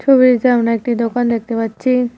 ছবিটিতে আমরা একটি দোকান দেখতে পাচ্ছি।